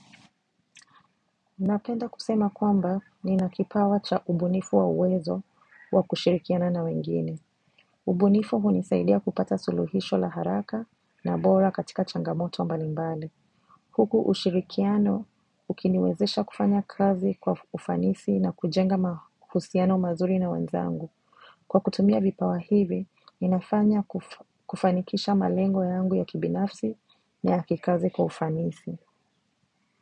Napenda kusema kwamba nina kipawa cha ubunifu wa uwezo wa kushirikiana na wengine. Ubunifu hunisaidia kupata suluhisho la haraka na bora katika changamoto mbalimbali. Huku ushirikiano ukiniwezesha kufanya kazi kwa ufanisi na kujenga mahusiano mazuri na wenzangu. Kwa kutumia vipawa hivi, inafanya kufanikisha malengo yangu ya kibinafsi na ya kikazi kwa ufanisi.